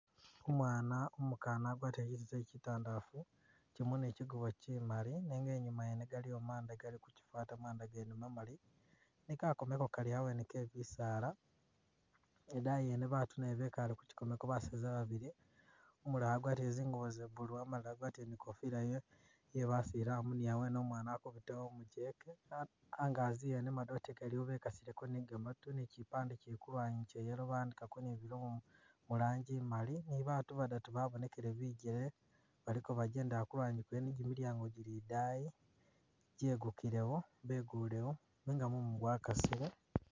Umwana umukana agwatile kyiteteli tyitandafu kyolomo ni kyigubo kyimali nenga inyuma yene galiyo manda gali kukyifata manda gene mamali ne kakomelo kali awene kebisala adayi yene batu nabo bekale kukakomeko basani babili ,umulala wagwatile zingubo za’blue amala agwatile ni kofila yebasilamu ni awene umwana akubitawo umujeke, angazi yene madote galiwo bekasileko ni gamatu ni kyipabde kyili kulwanyi kya’yellow bawandikako ni bilomo muranji imali ni babatu badatu babonekele bijele baliko bajendela kwene ni jimilyango jili idayi jegukilewo beguyewo nenga mumu gwakasile.